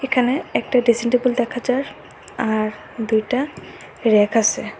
এখানে একটা dressing table দেখা যার আর দুইটা ব়্যাক আসে।